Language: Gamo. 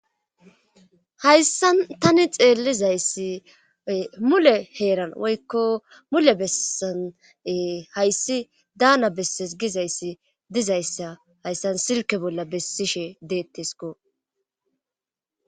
Hayssan tani xeellizayssi mule heeran woykko mule bessane hayssi daana besses gizayssi dizayssa hayssan silke bolla bessishe deettesko.